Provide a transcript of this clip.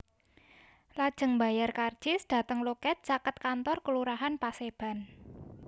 Lajeng mbayar karcis dhateng loket caket kantor Kelurahan Paseban